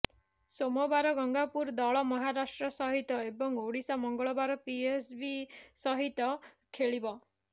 ସୋମବାର ଗାଙ୍ଗପୁର ଦଳ ମହାରାଷ୍ଟ୍ର ସହିତ ଏବଂ ଓଡ଼ିଶା ମଙ୍ଗଳବାର ପିଏସବି ସହିତ ଖେଳିବ